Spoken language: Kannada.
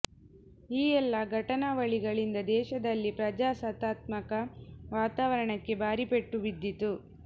ಈ ಎಲ್ಲಾ ಘಟನಾವಳಿಗಳಿಂದ ದೇಶದಲ್ಲಿ ಪ್ರಜಾಸತ್ತಾತ್ಮಕ ವಾತಾವರಣಕ್ಕೆ ಭಾರೀ ಪೆಟ್ಟು ಬಿದ್ದಿತು